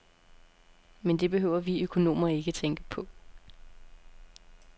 Men det behøver vi økonomer ikke tænke på.